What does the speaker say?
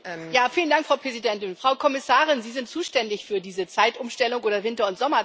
Frau Präsidentin! Frau Kommissarin, Sie sind zuständig für diese Zeitumstellung bzw. Winter und Sommerzeit.